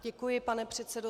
Děkuji, pane předsedo.